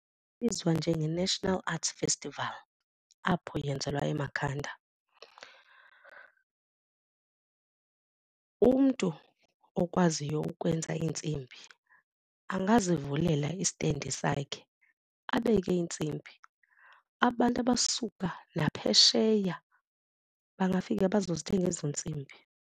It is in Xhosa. Ibizwa njenge-national arts festival apho yenzelwa eMakhanda. Umntu okwaziyo ukwenza iintsimbi angazivulela istendi sakhe abeke iintsimbi. Abantu abasuka naphesheya bangafika bazozithenga ezo ntsimbi.